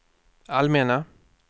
allmänna